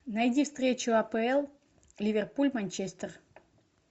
найди встречу апл ливерпуль манчестер